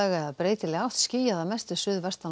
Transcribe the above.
eða breytileg átt skýjað að mestu suðvestan